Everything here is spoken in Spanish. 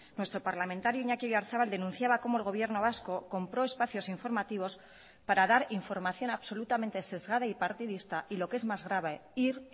nuestro parlamentario iñaki oyarzabal denunciaba cómo el gobierno vasco compró espacios informativos para dar información absolutamente sesgada y partidista y lo que es más grave ir